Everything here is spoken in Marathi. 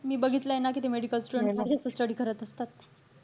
मी बघितलंय ना कि ते medical students कशे study करत असतात.